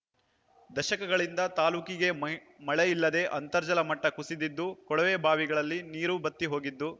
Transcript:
ದಶಕಗಳಿಂದ ತಾಲ್ಲೂಕಿಗೆ ಮ ಮಳೆ ಇಲ್ಲದೇ ಅಂತರ್ಜಲ ಮಟ್ಟ ಕುಸಿದಿದ್ದು ಕೊಳವೆ ಬಾವಿಗಳಲ್ಲಿ ನೀರು ಬತ್ತಿ ಹೋಗಿದ್ದು